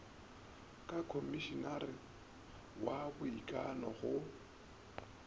ka khomišinara wa boikano go